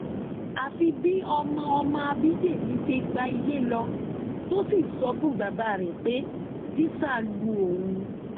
àfi bí ọmọ ọmọ ábídẹmì ṣe gba ilé lọ tó sì sọ fún bàbá rẹ pé tíṣà lu òun